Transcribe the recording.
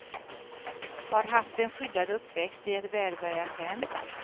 Har haft en skyddad uppväxt i ett välbärgat hem.